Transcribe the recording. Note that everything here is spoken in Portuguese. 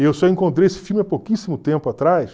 E eu só encontrei esse filme há pouquíssimo tempo atrás.